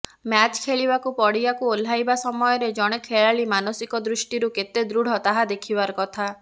match ଖେଳିବାକୁ ପଡ଼ିଆକୁ ଓହ୍ଲାଇବା ସମୟରେ ଜଣେ ଖେଳାଳି ମାନସିକ ଦୃଷ୍ଟିରୁ କେତେ ଦୃଢ଼ ତାହା ଦେଖିବାର କଥା